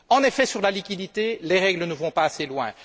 En effet, sur la liquidité, les règles ne vont pas assez loin.